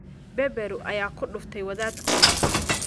Beberu ayaa ku dhuftay wadaadkoodii